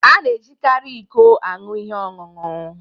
A na-ejikarị iko aṅụ ihe ọṅụṅụ.